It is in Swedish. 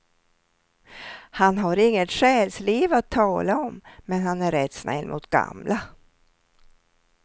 Han har inget själsliv att tala om, men han är rätt snäll mot gamla.